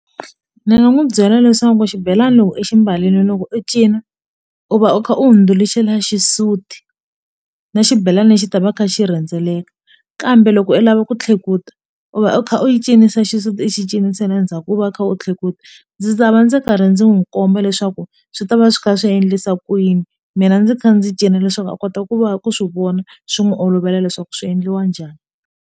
Ndzi nga n'wi byela leswaku xibelani loko i xi mbarile loko u cina u va u kha u hundzuluxela xisuti na xibelani lexi xi ta va kha xi rhendzeleka kambe loko u lava ku tlhekuta u va u kha u cinisa xisuti i xi cinisela ndzhaku u va u kha u tlhela futhi ndzi ta va ndzi karhi ndzi n'wi komba leswaku swi ta va swi kha swi endlisa ku yini mina ndzi kha ndzi cina leswaku a kota ku va ku swi vona swi n'wi olovela leswaku swi endliwa njhani.